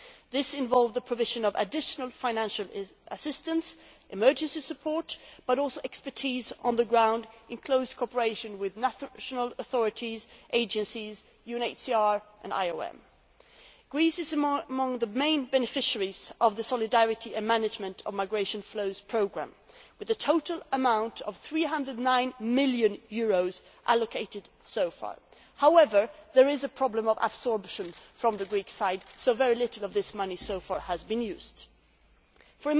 This involves the provision of additional financial assistance and emergency support but also expertise on the ground, in close collaboration with the national authorities, the agencies, the UNHCR and the IOM. Greece is among the main beneficiaries of the Solidarity and Management of Migration Flows Programme, with a total amount of EUR 309 million allocated so far. However, there is a problem of absorption from the Greek side, so very little of this money has been used so far.